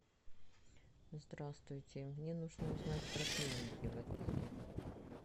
здравствуйте мне нужно узнать про клиники в отеле